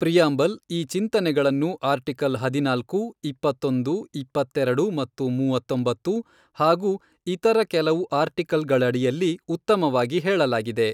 Preamble ಈ ಚಿಂತನೆಗಳನ್ನು article ಹದಿನಾಲ್ಕು, ಇಪ್ಪತ್ತೊಂದು, ಇಪ್ಪತ್ತೆರೆಡು, ಮತ್ತು ಮೂವತ್ತೊಂಬತ್ತು ಹಾಗೂ ಇತರ ಕೆಲವು ಆರ್ಟಿಕಲ್ಗಳಡಿಯಲ್ಲಿ ಉತ್ತಮವಾಗಿ ಹೇಳಲಾಗಿದೆ.